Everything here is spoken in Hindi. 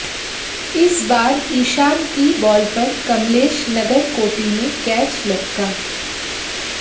इस बार ईशान की बॉल पर कमलेश नगरकोटी ने कैच लपका